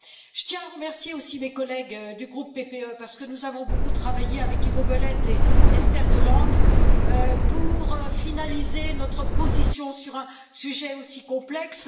Je tiens à remercier aussi mes collègues du groupe PPE, parce que nous avons beaucoup travaillé avec Ivo Belet et Esther de Lange pour finaliser notre position sur un sujet aussi complexe.